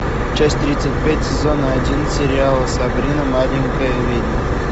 часть тридцать пять сезона один сериала сабрина маленькая ведьма